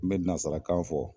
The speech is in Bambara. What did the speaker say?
N bɛ nasarakan fɔ